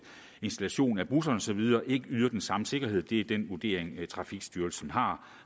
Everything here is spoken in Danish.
installation i busserne og så videre ikke yder den samme sikkerhed det er den vurdering trafikstyrelsen har